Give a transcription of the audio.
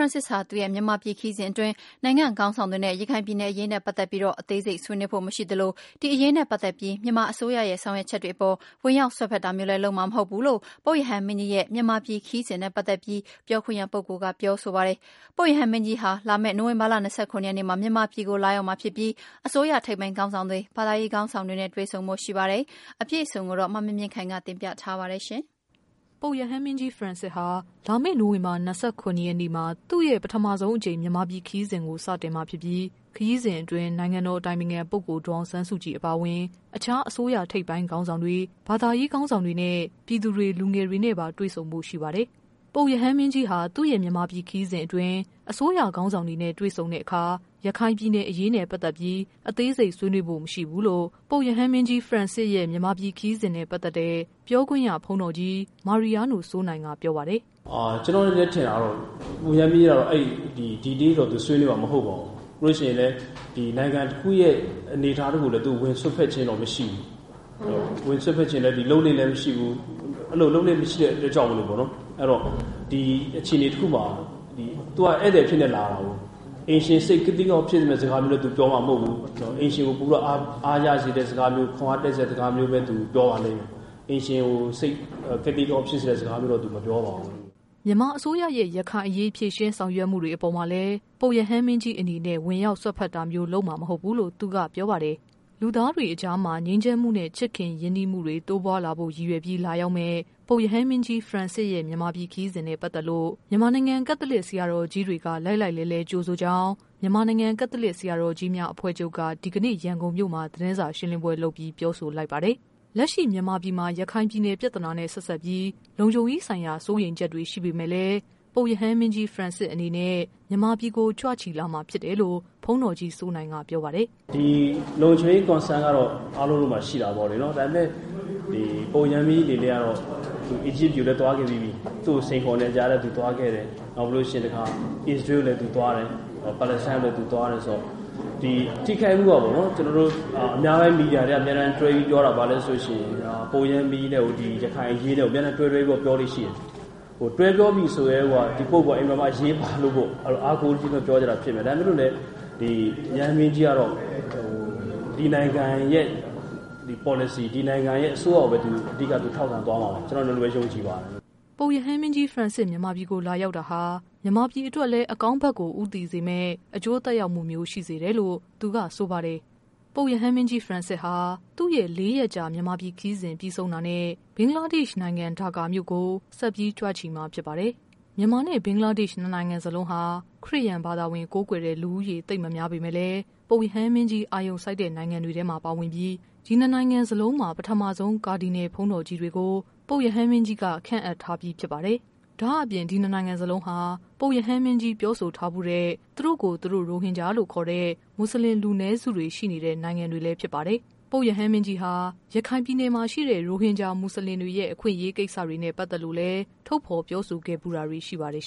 န့်စစ်စ်ဟာ သူ့ရဲ့ မြန်မာပြည် ခရီးစဉ်အတွင်း နိုင်ငံ့ခေါင်းဆောင်တွေနဲ့ တွေ့ဆုံတဲ့ အခါ ရခိုင်ပြည်နယ်အရေးနဲ့ ပတ်သက်ပြီး အသေးစိတ် ဆွေးနွေးဖို့ မရှိသလို ရခိုင်အရေးနဲ့ ပတ်သက်ပြီး မြန်မာ အစိုးရရဲ့ ဆောင်ရွက်ချက်တွေအပေါ် ဝင်ရောက် စွက်ဖက်တာမျိုးလဲ လုပ်မှာမဟုတ်ဘူးလို့ ပုပ် ရဟန်းမင်းကြီးရဲ့ မြန်မာပြည်ခရီးစဉ်နဲ့ပတ်သက်ပြီး ပြောခွင့်ရပုဂ္ဂိုလ်က ပြောဆိုလိုက်ပါတယ်။ ပုပ်ရဟန်း မင်းကြီး ဖရန့်စစ်စ်ဟာ လာမယ့် နိုဝင်ဘာ ၂၇ရက်နေ့မှာ မြန်မာပြည်ကို လာရောက်မှာ ဖြစ်ပြီး အစိုးရ ထိပ်ပိုင်းခေါင်းဆောင်တွေ၊ ဘာသာရေးခေါင်းဆောင်တွေနဲ့ တွေ့ဆုံဖို့ ရှိနေတာပါ။ သတင်း အပြည့်အစုံ ကိုတော့ ဗွီအိုအေ မြန်မာပိုင်း သတင်းထောက် မမြင့်မြင့်ခိုင်က တင်ပြပေးပါမယ်။ ပုပ်ရဟန်းမင်းကြီး ဖရန်စစ်စ်ဟာ လာမယ့် နိုဝင်ဘာ ၂၇ရက်နေ့မှာ သူ့ရဲ့ ပထမဆုံးအကြိမ် မြန်မာပြည် ခရီးစဉ်ကို စတင်မှာဖြစ်ပြီး ခရီးစဉ်အတွင်း နိုင်ငံတော် အတိုင်ပင်ခံပုဂ္ဂိုလ် ဒေါ်အောင်ဆန်းစုကြည်အပါ အဝင် အခြား အစိုးရ ထိပ်ပိုင်းခေါင်းဆောင်တွေ၊ ဘာသာရေး ခေါင်းဆောင်တွေ၊ ပြည်သူတွေ၊ လူငယ် တွေနဲ့ တွေ့ဆုံဖို့ ရှိပါတယ်။ ပုပ်ရဟန်းမင်းကြီးဟာ သူ့ရဲ့ မြန်မာပြည် ခရီးစဉ်အတွင်း အစိုးရခေါင်းဆောင်တွေနဲ့ တွေ့ဆုံတဲ့အခါ ရခိုင် ပြည်နယ်အရေးနဲ့ ပတ်သက်ပြီး အသေးစိတ် ဆွေးနွေးဖို့မရှိဘူးလို့ ပုပ်ရဟန်း မင်းကြီး ဖရန်စစ်စ်ရဲ့ မြန် မာပြည် ခရီးစဉ်နဲ့ ပတ်သက်တဲ့ ပြောခွင့်ရပုဂ္ဂိုလ် ဘုန်းတော်ကြီး မာရီယားနို စိုးနိုင်က ပြောပါတယ်။ “ကျနေ်ာ့အထင်ကတော့ ဒီအရေးတော့ သူဆွေးနွေးမှာမဟုတ်ပါဘူး၊ ပြီးလို့ရှိရင်လည်း နိုင်ငံတခုရဲ့အနေအထားတခုကိုတော့ ဝင်စွက်ဖက်ခြင်းတော့မရှိဘူး။ လုပ်လေ့လည်းမရှိဘူး။ အဲဒီလို လုပ်လေ့လဲမရှိတဲ့အတွက်ကြောင့်မို့လို့ သူကအခြေအနေတခုမှာ သူကဧည့်သည်အဖြစ်နဲ့လာတယ်ဆိုတော့ အိမ်ရှင်စိတ်ကသိကအောင့်ဖြစ်မယ့်စကားလည်းသူပြောမှာမဟုတ်ဘူး။ အိမ်ရှင်ကို ပိုပြီးတော့ အားရစေတဲ့စကားမျိုး ခွန်အားဖြစ်စေတဲ့စကားမျိုးပဲ သူပြောပါလိမ့်မယ်။ အိမ်ရှင်စိတ်ကို စိတ်ကသိကအောင့် ဖြစ်စေမယ့်စကားတော့ သူပြောမှာမဟုတ်ပါဘူး။” မြန်မာအစိုးရရဲ့ ရခိုင်အရေး ဖြေရှင်းဆောင်ရွက်ချက်တွေအပေါ်မှာလည်း ပုပ်ရဟန်းမင်းကြီးအနေနဲ့ ဝင် ရောက်စွက်ဖက်တာမျိုး လုပ်မှာ မဟုတ်ဘူးလို့လည်း သူက ပြောပါတယ်။ လူသားတွေအကြားမှာ ငြိမ်းချမ်းမှုနဲ့ ရင်းနှီးချစ်ခင်မှုတွေ တိုးပွားလာဖို့ ရည်ရွယ်ပြီး လာရောက်မယ့် ပုပ် ရဟန်းမင်းကြီး ဖရန်စစ်စ်ရဲ့ မြန်မာပြည်ခရီးစဉ်နဲ့ ပတ်သက်လို့ မြန်မာနိုင်ငံ ကက်သလစ် ဆရာတော် ကြီးတွေက လှိုက်လှိုက်လှဲလှဲ ကြိုဆိုကြောင်း မြန်မာနိုင်ငံ ကက်သလစ် ဆရာတော်ကြီးများအဖွဲ့ချုုပ်က ဒီကနေ့ ရန်ကုန်မြို့မှာ သတင်းစာရှင်းလင်းပွဲလုပ်ပြီး ပြောဆိုလိုက်ပါတယ်။ လက်ရှိ မြန်မာပြည်မှာ ရခိုင်ပြည်နယ် ပြဿနာနဲ့ ဆက်စပ်ပြီး လုံခြုံရေး ဆိုင်ရာ စိုးရိမ်ချက်တွေရှိပေမယ့် လည်း ပုပ်ရဟန်းမင်းကြီး ဖရန်စစ်အနေနဲ့ မြန်မာပြည်ကို ကြွချီလာမှာဖြစ်တယ်လို့ ဘုန်းတော်ကြီး စိုး နိုင်က ပြောပါတယ်။ “ဒီ လုံခြုံရေး Concern ကတော့ အားလုံးမှာရှိတာပေါ့လေနော်။ ဒါပေမယ့် ပုပ်ရဟန်းမင်းကြီးအနေနဲ့ကတော့ အီဂျစ်ပြည်ကိုလည်း သွားခဲ့ပြီးပြီ။ သူ့ကိုစိန်ခေါ်နေတဲ့ကြားထဲသူသွားခဲ့တယ်။ နောက်ပြီးတော့ အစ္စရေးကိုလည်းသူသွားတယ်၊ Palestine ကိုလည်းသူသွားတယ်ဆိုတော့ ဒီအများပိုင်းမီဒီယာတွေက တွဲပြီးပြောတာဘာလဲဆိုရင် ပုပ်ရဟန်းမင်းကြီးနဲ့ကို ရခိုင်အရေးနဲ့ကို အမြဲတမ်းတွဲတွဲပြီးပြောတာရှိတယ်။ တွဲပြောပြီဆိုကတည်းကိုက ဒီ ပုဂ္ဂိုလ်က အရေးပါလို့ပေါ့နော် အားကိုးတကြီးမို့လို့ပြောတာဖြစ်မယ်။ ဒါပေမယ့်လို့ ပုပ်ရဟန်းမင်းကြီးကတော့ ဒီနိုင်ငံရဲ့ ပေါ်လစီ၊ ဒီနိုင်ငံရဲ့ အစိုးရကိုပဲ သူထောက်ခံသွားမှာပါ ကျနော်တို့ကတော့ ဒီလိုပဲ ယုံကြည်ပါတယ်။” ပုပ်ရဟန်းမင်းကြီး ဖရန်စစ်စ် မြန်မာပြည်ကို လာရောက်တာဟာ မြန်မာပြည်အတွက်လည်း အကောင်း ဘက်ကို ဦးတည်စေမယ့် အကျိုး သက်ရောက်မှုမျိုး ရှိစေမယ်လို့လည်း သူကဆိုပါတယ်။ ပုပ်ရဟန်း မင်းကြီး ဖရန်စစ်စ်ဟာ သူ့ရဲ့ ၄ရက်ကြာ မြန်မာပြည်ခရီးစဉ်ပြီးဆုံးတာနဲ့ ဘင်္ဂလားဒေ့ရှ်နိုင်ငံ ဒါ ကာမြို့ကို ဆက်ပြီး ကြွချီမှာဖြစ်ပါတယ်။ မြန်မာနဲ့ ဘင်္ဂလားဒေ့ရှ် နှစ်နိုင်ငံစလုံးဟာ ခရစ်ယာန် ဘာသာ ကိုးကွယ်တဲ့ လူဦးရေ သိပ်မများပေမယ့်လည်း ပုပ်ရဟန်းမင်းကြီး အာရုံစိုက်တဲ့နိုင်ငံတွေထဲမှာ ပါဝင်ပြီး ဒီနှစ်နိုင်ငံ စလုံးမှာ ပထမဆုံး ကာဒီနယ်လ်ဘုန်းတော်ကြီးတွေကို ပုပ်ရဟန်းမင်းကြီးက ခန့်အပ်ထားပြီး ဖြစ်ပါတယ်။ ဒါ့အပြင် ဒီနှစ်နိုင်ငံစလုံးဟာ ပုပ်ရဟန်းမင်းကြီး ပြောဆိုထားဖူးတဲ့ သူတို့ကိုယ် သူတို့ ရိုဟင် ဂျာလို့ ခေါ်တဲ့ မွတ်စလင် လူနည်းစုတွေ ရှိနေတဲ့ နိုင်ငံတွေလည်းဖြစ်ပါတယ်။ ပုပ်ရဟန်းမင်းကြီးဟာ ရခိုင် ပြည်နယ်မှာရှိတဲ့ ရိုဟင်ဂျာ မွတ်ဆလင်တွေရဲ့ အခွင့်အရေး ကိစ္စတွေနဲ့ ပတ်သက်လို့ ထုတ်ဖော် ပြောဆိုခဲ့ဖူးတာတွေ ရှိပါတယ်